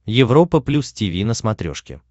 европа плюс тиви на смотрешке